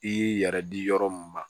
I y'i yɛrɛ di yɔrɔ mun ma